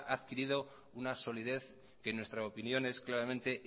ha adquirido una solidez que en nuestra opinión es claramente